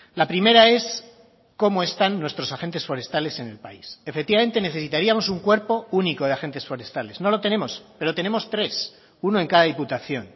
la primera es cómo están nuestros agentes forestales en el país efectivamente necesitaríamos un cuerpo único de agentes forestales no lo tenemos pero tenemos tres uno en cada diputación